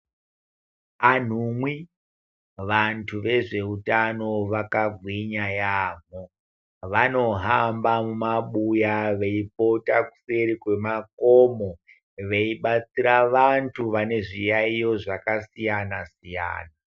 Anhumwi vantu vezvehutano vaka gwinya yambo vanohamba mumabuya veipota kuseri kwemakomo veibatsira vantu vane zviyayo zvakasiyana-siyana.